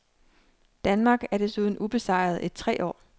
Danmark er desuden ubesejret i tre år.